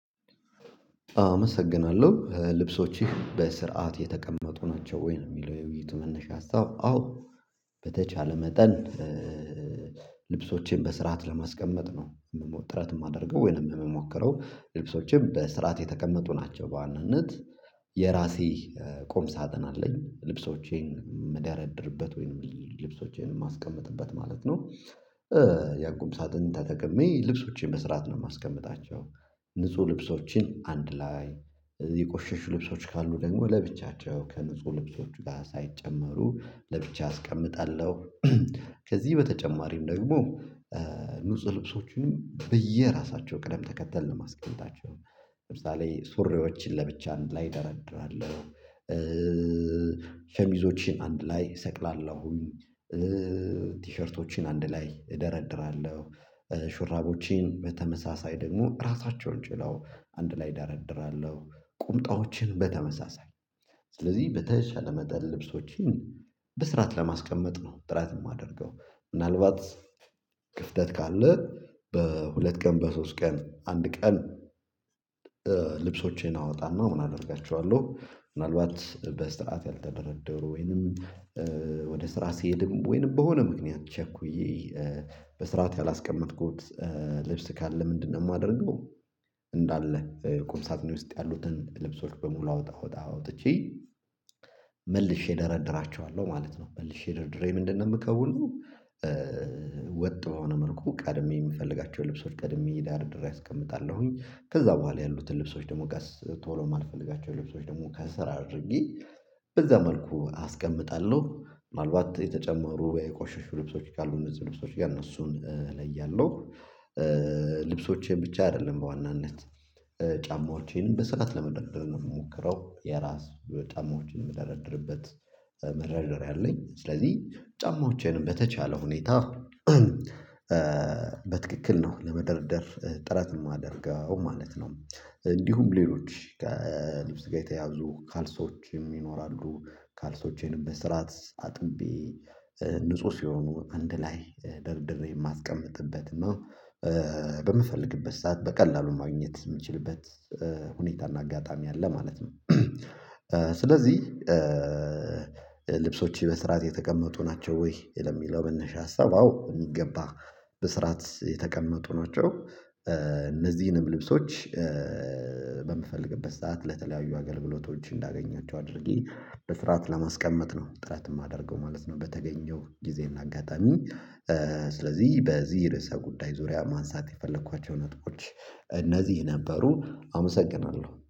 አመሰግናለሁ ልብሶችቼ በስርዓት የተቀመጡ ናቸው ወይ? የሚለው የውይይቱ መነሻ ሀሳብ አዎ። በተቻለ መጠን ልብሶቼን በስርዓት ለማስቀመጥ ነው የምሞክረው ጥረት የማደርገው ወይንም የምሞክረው ልብሶችም በስርዓት የተቀመጡ ናቸው። በዋናነት የራሴ ቆምሳጥን አለኝ ልብሶቼን የምደረድርበት ወይንም ልብሶቼን የማስቀምጥበት ማለት ነው። ያው ቁምሳጥን ተጠቅሜ ልብሶቼን መስራት ነው የማስቀምጣቸው። ንጹህ ልብሶችን አንድ ላይ የቆሸሹ ልብሶች ካሉ ደግሞ ለብቻቸው ከንጹህ ልብሶች ጋር ሳይጨመሩ ለብቻ አስቀምጣለሁ። ከዚህ በተጨማሪም ደግሞ ንጹህ ልብሶቹንም በየራሳቸው ቅደም ተከተል የምያስቀምጣቸው። ለምሳሌ ሱሬዎችን ለብቻ ላይ እደረድራለው። ሸሚዞችን አንድ ላይ እሰቅላለሁ። ቲሸርቶችን አንድ ላይ እደረድራለሁ። ሹራቦቼን በተመሳሳይ ደግሞ ራሳቸውን ችለው አንድ ላይ ዳር እድራለሁ። ቁምጣዎችን በተመሳሳይ ስለዚህ በተሻለ መጠን ልብሶችን በስራት ለማስቀመጥ ነው ጥራት የማደርገው። ምናልባት ክፍተት ካለ በሁለት ቀን በሶስት ቀን አንድ ቀን። ልብሶቼን አወጣና ምን አደርጋቸዋለሁ? ምናልባት በስርዓት ያልተደረደሩ ወይንም ወደ ስራ ሲሄድም ወይንም በሆነ ምክንያት ቸኩዬ በስርዓት ያላስቀመጥኩት ልብስ ካለ ምንድነው የማደርገው? እንዳለ ቁምሳጥኔ ውስጥ ያሉትን ልብሶች በሙሉ አውጣ አውጣ አውጥቼ መልሼ እደረድራቸዎለሁ ማለት ነው። መልሼ ድርድሬ ምንድነው የምከውለው? ወጥ በሆነ መልኩ ቀድሜ የምፈልጋቸው ልብሶች ቀድሜ ዳር ድሬ አስቀምጣለሁኝ። ከዛ በኋላ ያሉትን ልብሶች ደግሞ ቶሎ ማልፈልጋቸው ልብሶች ደግሞ ከስር አድርጊ በዛ መልኩ አስቀምጣለሁ። ምናልባት የተጨመሩ የቆሸሹ ልብሶች ካሉ እነዚህ ልብሶች እነሱን ላይ ያለው ልብሶቼን ብቻ አይደለም በዋናነት። ጫማዎቼን በስርዓት ለመደሮደሮ ምሞክረው የራስ ጫማዎቼን የምደራደርበት መደሮደሮያ አለኝ ስለዚህ ጫማዎቼንም በተቻለ ሁኔታ በትክክል ነው ለመደርደር ጥረት የማደርገው ማለት ነው። እንዲሁም ሌሎች ከልብስ ጋር የተያዙ ካልሶችም ይኖራሉ። ካልሶቼንም በስራት አጥንቢ ንጹህ ሲሆኑ አንድ ላይ ደርድሬ የማስቀምጥበት ነው። በምፈልግበት ሰዓት በቀላሉን ማግኘት የምንችልበት ሁኔታና እና አጋጣሚ አለ ማለት ነው። ስለዚህ ልብሶች በስርዓት የተቀመጡ ናቸው ወይ? ለሚለው መነሻ ሀሳብ አዎ የሚገባ በስራት የተቀመጡ ናቸው። እነዚህንም ልብሶች በምፈልግበት ሰዓት ለተለያዩ አገልግሎቶች እንዳገኛቸው አድርጊ በስርዓት ለማስቀመጥ ነው ጥረት የማደርገው ማለት ነው። በተገኘው ጊዜ እና አጋጣሚ ስለዚህ በዚህ ርዕሰ ጉዳይ ዙሪያ ማንሳት የፈለኳቸው ነጥቦች እነዚህ ነበሮ አመሰግናለሁ